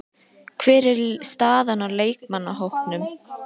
Hver er staðan á leikmannahópnum?